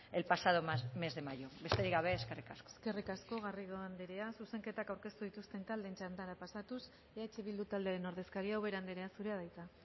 el pasado mes de mayo besterik gabe eskerrik asko eskerrik asko garrido anderea zuzenketak aurkeztu dituzten taldeen txandara pasatuz eh bildu taldearen ordezkaria ubera anderea zurea da hitza